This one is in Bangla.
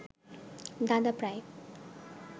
দাদা প্রায়